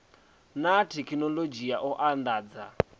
na thekhinoḽodzhi ya u andadza